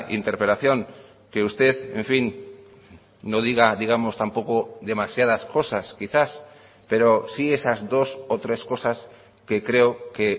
interpelación que usted en fin no diga digamos tampoco demasiadas cosas quizás pero sí esas dos o tres cosas que creo que